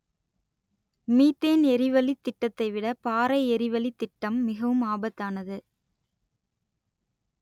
methane எரிவளித் திட்டத்தை விட பாறை எரிவளித் திட்டம் மிகவும் ஆபத்தானது